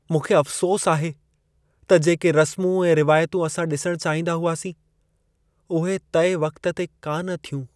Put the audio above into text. मूंखे अफ़सोस आहे त जेके रस्मूं ऐं रिवायतूं असां डि॒सण चाहींदा हुआसीं , उहे तइ वक़्तु ते कान थियूं।